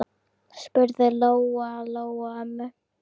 spurði Lóa-Lóa ömmu.